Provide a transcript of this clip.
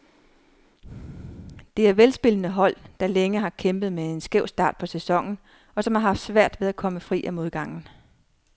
Det er velspillende hold, der længe har kæmpet med en skæv start på sæsonen, og som har haft svært ved at komme fri af modgangen.